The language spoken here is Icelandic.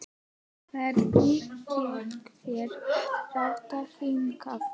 Hvernig gekk þér að rata hingað?